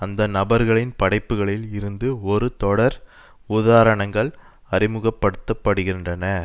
அந்த நபர்களின் படைப்புகளில் இருந்து ஒரு தொடர் உதாரணங்கள் அறிமுகப்படுத்த படுகின்றன